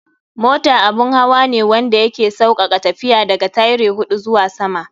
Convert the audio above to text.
Mota abun hawa ne wanda ya ke saukaka tafiya, da ga tyre huɗu zuwa sama.